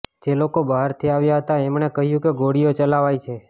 જે લોકો બહારથી આવ્યા હતા એમણે કહ્યું કે ગોળીઓ ચલાવાઈ છે